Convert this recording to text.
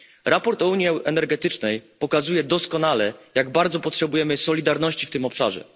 Raport o Unii energetycznej pokazuje doskonale, jak bardzo potrzebujemy solidarności w tym obszarze.